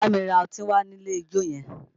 Bámi ra ọtí wá nílé ijó yẹn!